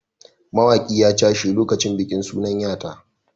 Wani mawaƙi ya cashe lokacin bikin sunan ya ta.